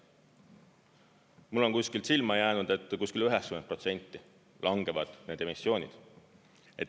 Mulle on kuskilt silma jäänud, et kuskil 90% langevad need emissioonid.